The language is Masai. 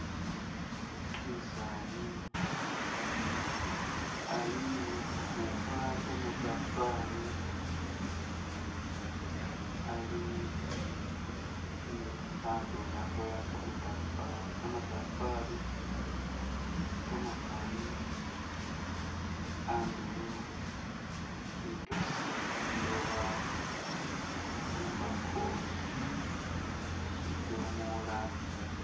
Umusaani ali ukhupa kamatafari ali ni khakhandu khakhola kamatafari, kamatafari kamakali andulo, litosi, liloba, imbako, shidomola,..